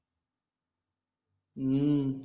हम्म